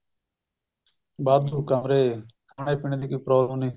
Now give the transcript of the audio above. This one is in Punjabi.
ਵਾਧੂ ਕਮਰੇ ਖਾਣੇ ਪੀਨੇ ਦੀ ਕੋਈ problem ਨਹੀਂ